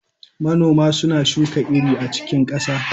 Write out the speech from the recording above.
Manoma suna shuka iri a cikin ƙasa.